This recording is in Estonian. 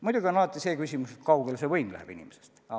Muidugi on alati see küsimus, kui kaugele võim läheb inimesest.